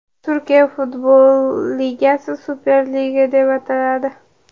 Turkiya futbol ligasi Super Lig deb ataladi.